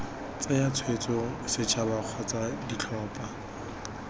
tsaya tshwetso setšhaba kgotsa ditlhopha